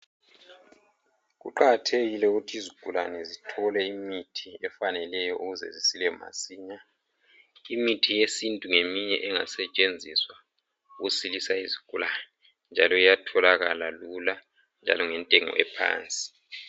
Kuqakathekile ukuthi izigulane zithole imithi efaneleyo ukuze zisile masinya. Imithi yesintu ngeminye engasetshenziswa ukusilisa izigulani njalo iyatholakala lula njalo ngentengo ephansi.